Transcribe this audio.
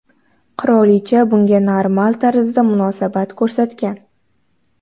Qirolicha bunga normal tarzda munosabat ko‘rsatgan.